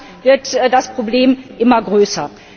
Damit wird das Problem immer größer.